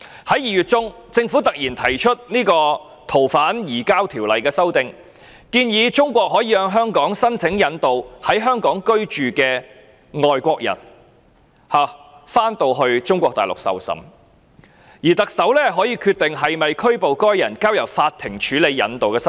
在2月中，政府突然提出《2019年逃犯及刑事事宜相互法律協助法例條例草案》，建議中國可以向香港申請引渡在香港居住的外國人返回中國大陸受審，而特首可以決定是否拘捕該人，並交由法庭處理引渡的申請。